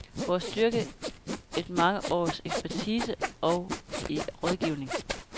Vores styrke et mange års ekspertise og erfaring i rådgivning.